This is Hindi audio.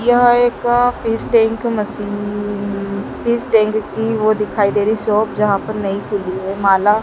यह एक fish tank machine fish tank की वो दिखाई दे रही है शॉप जहाँ पर नइ खुली है माला --